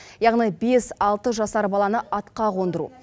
яғни бес алты жасар баланы атқа қондыру